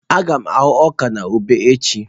Aga m ahụ́ ọka na ube echi.